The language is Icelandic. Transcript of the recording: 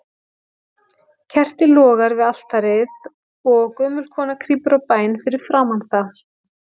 Kerti logar við altarið, og gömul kona krýpur á bæn fyrir framan það.